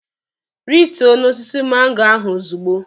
Rituo n'osisi mango ahụ ozugbo!